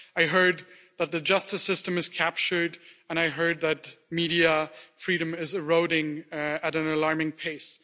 I heard that the justice system is captured, and I heard that media freedom is being eroded at an alarming pace.